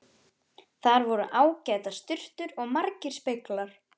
Þar voru ágætar sturtur og margir speglar!